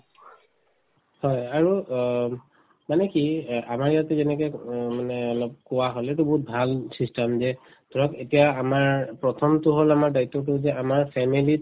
হয়, আৰু অ মানে কি অ আমাৰ ইয়াতে যেনেকে উম মানে অলপ পোৱা হল এইটো বহুত ভাল system যে ধৰক এতিয়া আমাৰ প্ৰথমতো হল আমাৰ দায়িত্বতো যে আমাৰ family ত